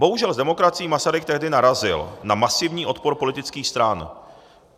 Bohužel s demokracií Masaryk tehdy narazil na masivní odpor politických stran.